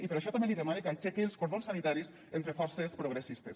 i per això també li demane que aixeque els cordons sanitaris entre forces progressistes